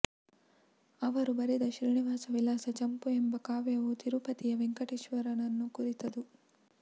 ಅವರು ಬರೆದ ಶ್ರೀನಿವಾಸ ವಿಲಾಸ ಚಂಪು ಎಂಬ ಕಾವ್ಯವು ತಿರುಪತಿಯ ವೆಂಕಟೇಶ್ವರನನ್ನು ಕುರಿತುದು